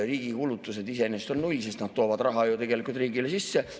Riigi kulutused iseenesest on null, sest nad toovad raha ju tegelikult riigile sisse.